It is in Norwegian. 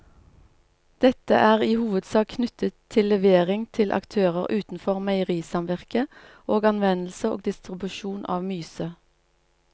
Dette er i hovedsak knyttet til levering til aktører utenfor meierisamvirket og anvendelse og distribusjon av myse.